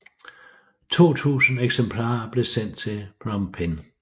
To tusinde eksemplarer blev sendt til Phnom Penh